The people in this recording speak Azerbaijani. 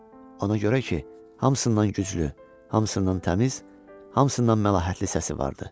Ona görə ki, hamısından güclü, hamısından təmiz, hamısından məlahətli səsi vardı.